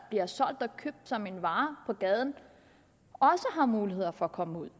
bliver solgt og købt som en vare på gaden har mulighed for at komme ud